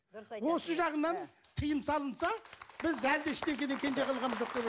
осы жағынан тыйым салынса біз әлі де ештеңеден кенже қалған